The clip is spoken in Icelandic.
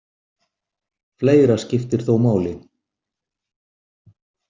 Fleira skiptir þó máli.